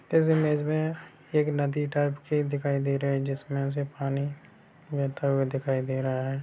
इस इमेज में एक नदी टाइप की दिखाई दे रही है जिसमे से पानी बहता हुआ दिखाई दे रहा है।